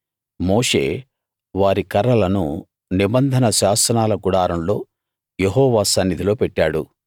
మోషే వారి కర్రలను నిబంధన శాసనాల గుడారంలో యెహోవా సన్నిధిలో పెట్టాడు